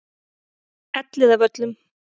Elliðavöllum